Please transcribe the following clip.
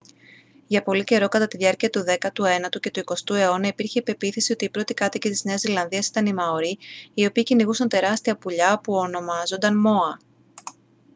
για πολύ καιρό κατά τη διάρκεια του δέκατου ένατου και του εικοστού αιώνα υπήρχε η πεποίθηση ότι οι πρώτοι κάτοικοι της νέας ζηλανδίας ήταν οι μαορί οι οποίοι κυνηγούσαν τεράστια πουλιά που ονομάζονταν μόα